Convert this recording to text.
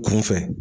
Kunfɛ